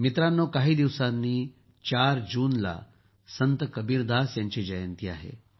मित्रांनो काही दिवसांनी ४ जूनला संत कबीरदास यांची जयंती आहे